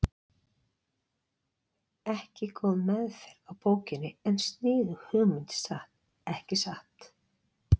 Ekki góð meðferð á bókinni en sniðug hugmynd samt, ekki satt?